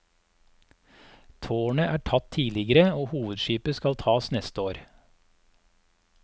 Tårnet er tatt tidligere, og hovedskipet skal tas neste år.